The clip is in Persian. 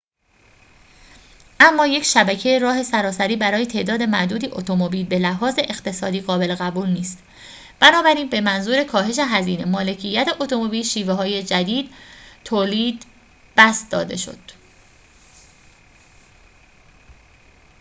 اما یک شبکه راه سراسری برای تعداد معدودی اتومبیل به لحاظ اقتصادی قابل قبول نیست بنابراین به منظور کاهش هزینه مالکیت اتومبیل شیوه‌های جدید تولید بسط داده شد